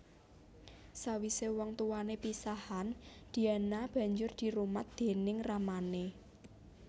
Sawisé wong tuwané pisahan Diana banjur dirumat déning ramané